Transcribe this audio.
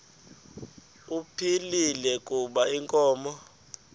ephilile kuba inkomo